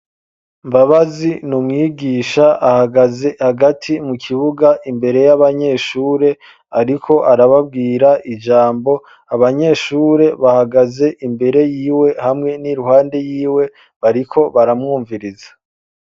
Mbabazi n'umwigisha ahagaze hagati mu kibuga imbere y'abanyeshure ariko arababwira ijambo abanyeshure bahagaze imbere yiwe hamwe n'iruhande yiwe bariko baramwumviriza.